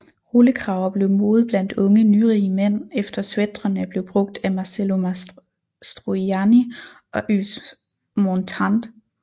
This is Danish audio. Rullekraver blev mode blandt unge nyrige mænd efter sweatrene blev brugt af Marcello Mastroianni og Yves Montand